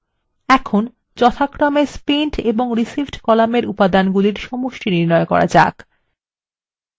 এখন আমাদের যথাক্রমে spent এবং received কলামের উপাদানগুলির সমষ্টি নির্ণয় করা যাক